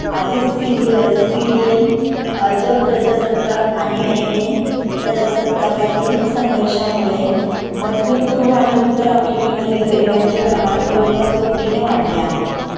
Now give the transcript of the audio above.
आधीच serious Syrian जग प्रजासत्ताक आणि एम एन प्रजासत्ताकातिल संघर्षामुळे मध्य पूर्व आणि उत्तर आफ्रिकेमधील गरिबांचे प्रमाण जवळपास दुपटीने वाढले आहे